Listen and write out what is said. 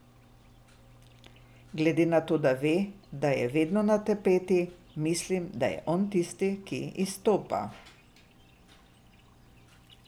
Glede na to, da ve, da je vedno na tapeti, mislim, da je on tisti, ki izstopa.